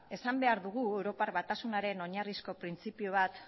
esan behar dugu europar batasunaren oinarrizko printzipio bat